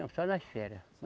Não, só nas férias.